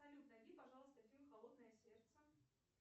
салют найди пожалуйста фильм холодное сердце